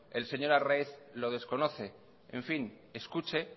el señor arraiz lo desconoce en fin escuche